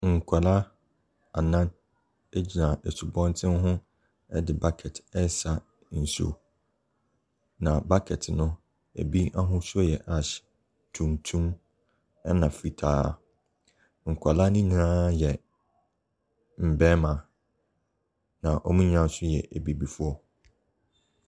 Nkwadaa anan gyina asubɔnten ho de bucket resa nsuo, na bucket no, ɛbi ahosuo yɛ ash, tuntum, ɛnna fitaa. Nkwadaa no nyinaa yɛ mmarima. Na wɔn nyinaa nso yɛ abibifoɔ.